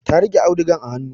Ta riƙe audugan a hanu